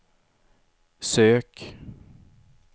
sök